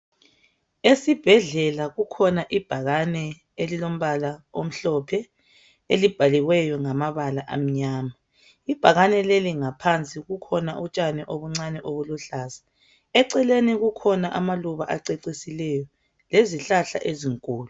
Esibhedlela kukhona ibhakane elilombala omhlophe elibhaliweyo ngamabala amnyama. Ibhakane leli ngaphansi kukhona utshani obuncane obuluhlaza, eceleni kukhona amaluba acecisileyo lezihlahla ezinkulu.